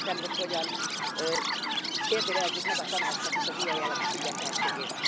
Nem értem, hogy hogyan kérdőjelezzük meg a Tanácsnak is az ilyen jellegű függetlenségét.